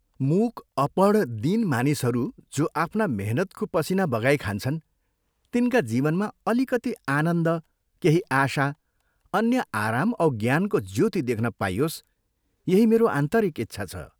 मूक अपढ, दीन मानिसहरू, जो आफ्ना मेहनतको पसीना बगाई खान्छन्, तिनका जीवनमा अलिकति आनन्द, केही आशा, अन्य आराम औ ज्ञानको ज्योति देख्न पाइयोस् यही मेरो आन्तरिक इच्छा छ।